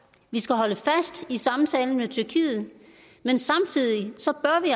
vi skal holde fast i samtalen med tyrkiet men samtidig